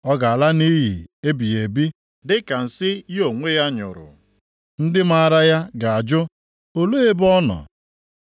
ọ ga-ala nʼiyi ebighị ebi, dịka nsị ya onwe ya nyụrụ; ndị maara ya ga-ajụ, ‘Olee ebe ọ nọ?’